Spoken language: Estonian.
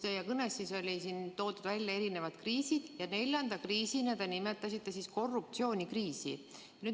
Teie kõnes olid toodud välja erisugused kriisid ja neljanda kriisina nimetasite korruptsioonikriisi.